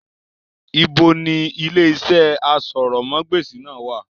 Ibo ni ilé iṣẹ́ asọ̀rọ̀mágbèsì náà wà?